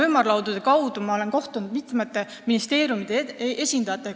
Ümarlaudadel olen ma kohtunud mitme ministeeriumi esindajatega.